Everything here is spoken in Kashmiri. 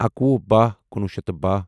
اکوُہ بہہَ کُنوُہ شیٚتھ بہہَ